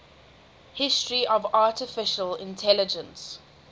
history of artificial intelligence